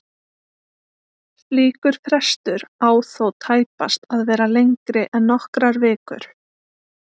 Slíkur frestur á þó tæpast að vera lengri en nokkrar vikur.